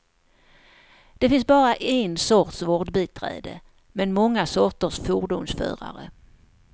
Det finns bara en sorts vårdbiträde, men många sorters fordonsförare.